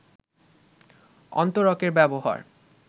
অন্তরকের ব্যবহার